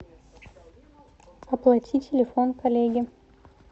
оплати телефон коллеге